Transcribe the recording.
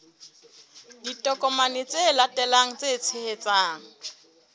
ditokomane tse latelang tse tshehetsang